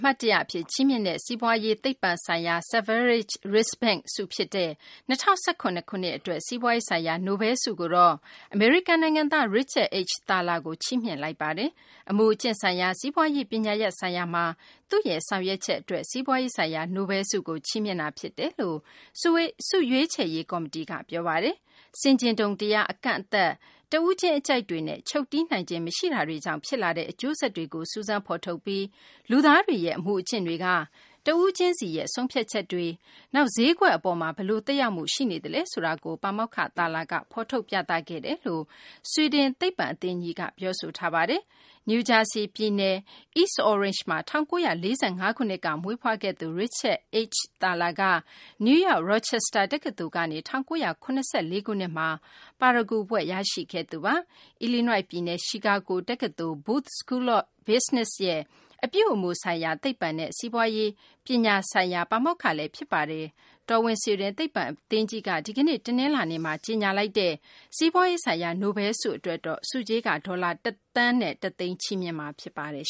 မှတ်တရ အဖြစ် ချီးမြှင့်တဲ့ စီးပွားရေး သိပ္ပံဆိုင်ရာ Sveriges Riksbank ဆု ဖြစ်တဲ့ ၂၀၁၇ ခုနှစ် အတွက် စီးပွားရေးဆိုင်ရာ နိုဘဲလ်ဆုကိုတော့ အမေရိကန် နိုင်ငံသား Richard H. Thaler ကို ချီးမြှင့်လိုက်ပါတယ်။ အမူအကျင့်ဆိုင်ရာ စီးပွားရေး ပညာရပ်ဆိုင်ရာမှာ သူ့ရဲ့ ဆောင်ရွက်ချက် အတွက် စီးပွားရေးဆိုင်ရာ နိုဘဲလ်ဆုကို ချီးမြှင့်တာ ဖြစ်တယ်လို့ ဆုရွေးချယ်ရေး ကော်မတီက ပြောဆိုပါတယ်။ ဆင်ခြင်တုံတရား အကန့်အသတ်၊ တဦးချင်း အကြိုက်တွေနဲ့ ချုပ်တည်းနိုင်ခြင်း မရှိတာတွေကြောင့် ဖြစ်လာတဲ့ အကျိုးဆက်တွေကို စူးစမ်းဖော်ထုတ်ပြီး လူသားတွေရဲ့ အမူအကျင့်တွေက တဦးချင်းရဲ့ ဆုံးဖြတ်ချက်တွေ နောက် ဈေးကွက် အပေါ်မှာ ဘယ်လို သက်ရောက်မှု ရှိနေသလဲ ဆိုတာကို ပါမောက္ခ Thaler က ဖော်ထုတ် ပြသခဲ့တယ်လို့ ဆွီဒင်သိပ္ပံ အသင်းကြီးက ပြောဆိုထားပါတယ်။ နယူးဂျာစီးပြည်နယ် East Orange မှာ ၁၉၄၅ ခုနှစ်က မွေးဖွားခဲ့သူ Richard H. Thaler က နယူးယောက် Rochester တက္ကသိုလ်ကနေ ၁၉၇၄ ခုနှစ်မှာ ပါရဂူဘွဲ့ ရရှိခဲ့သူပါ။ အီလီနွိုက် ပြည်နယ် Chicago တက္ကသိုလ် Booth School of Business ရဲ့ အပြုအမူဆိုင်ရာ သိပ္ပံနဲ့ စီးပွားရေးပညာ ဆိုင်ရာ ပါမောက္ခလည်း ဖြစ်ပါတယ်။ တော်ဝင်ဆွီဒင် သိပ္ပံအသင်းကြီးက ဒီကနေ့ တနလာၤနေ့မှာ ကြေညာလိုက်တဲ့ စီးပွားရေးဆိုင်ရာ နိုဘဲလ်ဆုအတွက်တော့ ဆုကြေးက ဒေါ်လာ ၁ သန်း ၁ သိန်းချီးမြှင့်မှာ ဖြစ်ပါတယ်